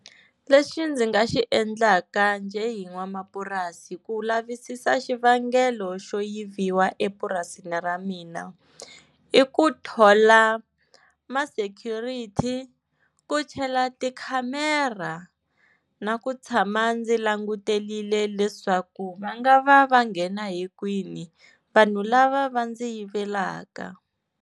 Lexi ndzi nga xi endlaka njhe hi n'wamapurasi ku lavisisa xivangelo xo yiviwa epurasini ra mina, i ku thola ma-security ku chela, tikhamera na ku tshama ndzi languterile leswaku va nga va va nghena hikwini vanhu lava va ndzi yivelaka.